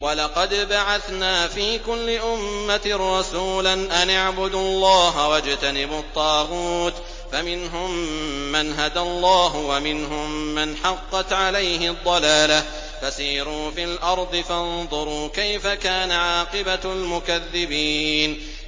وَلَقَدْ بَعَثْنَا فِي كُلِّ أُمَّةٍ رَّسُولًا أَنِ اعْبُدُوا اللَّهَ وَاجْتَنِبُوا الطَّاغُوتَ ۖ فَمِنْهُم مَّنْ هَدَى اللَّهُ وَمِنْهُم مَّنْ حَقَّتْ عَلَيْهِ الضَّلَالَةُ ۚ فَسِيرُوا فِي الْأَرْضِ فَانظُرُوا كَيْفَ كَانَ عَاقِبَةُ الْمُكَذِّبِينَ